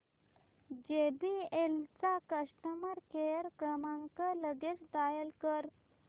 JBL चा customer care क्रमांक लगेच डायल कर